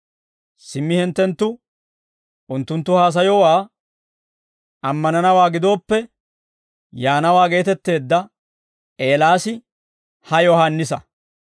simmi hinttenttu unttunttu haasayowaa ammananawaa gidooppe, yaanawaa geetetteedda Eelaas ha Yohaannisa.